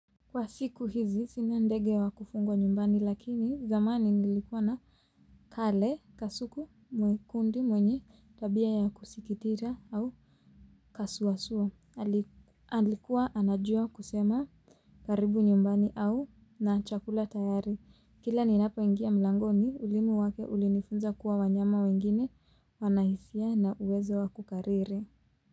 Kwa siku hizi sina ndege wa kufungwa nyumbani lakini zamani nilikuwa na kale kasuku mwekundi mwenye tabia ya kusikitira au kasuawasua alikuwa anajua kusema karibu nyumbani au na chakula tayari kila ninapoingia mlangoni ulimi wake ulinifunza kuwa wanyama wengine wana hisia na uwezo wa kukariri.